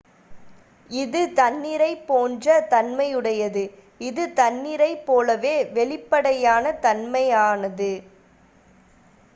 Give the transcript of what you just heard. """இது தண்ணீரைப் போன்ற தன்மையுடையது. இது தண்ணீரைப்போலவே வெளிப்படையான தன்மையானது.